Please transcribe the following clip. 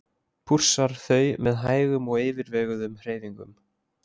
Pússar þau með hægum og yfirveguðum hreyfingum.